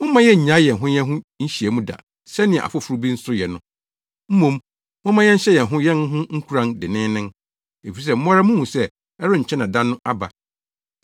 Mommma yennnyae yɛn ho yɛn ho nhyiamu da sɛnea afoforo bi yɛ no. Mmom, momma yɛnhyɛ yɛn ho yɛn ho nkuran denneennen, efisɛ mo ara muhu sɛ ɛrenkyɛ na da no aba.